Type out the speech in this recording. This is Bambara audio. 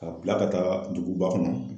Ka bila ka taa duguba kɔnɔ.